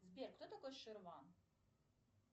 сбер кто такой ширван